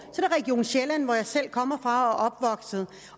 og sjælland hvor jeg selv kommer fra